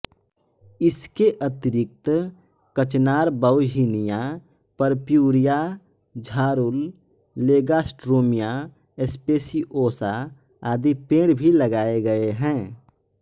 इसके अतिरिक्त कचनार बाउहिनिया परप्यूरिया झारूल लेगार्स्ट्रोमिया स्पेसिओसा आदि पेड़ भी लगाये गये हैं